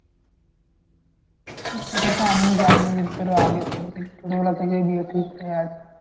সেটা তো আমিও জানি তারও আগে ছোট থেকে ছোটবেলা থেকেই বিয়ে ঠিক হয়ে আছে।